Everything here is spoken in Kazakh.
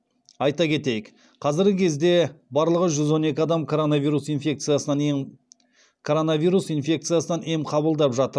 айта кетейік қазіргі кезде барлығы жүз он екі адам коронавирус коронавирус инфекциясынан ем қабылдап жатыр